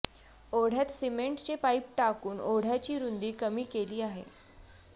ओढ्यात सिमेंटचे पाईप टाकून ओढ्याची रुंदी कमी केली आहे